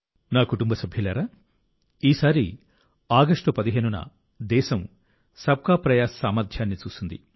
నా కుటుంబ సభ్యులారా ఈసారి ఆగస్టు 15న దేశం సబ్ కా ప్రయాస్ సామర్థ్యాన్ని చూసింది